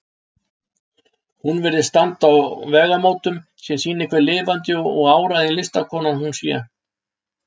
Hún virðist standa á vegamótum, sem sýni hve lifandi og áræðin listakona hún sé.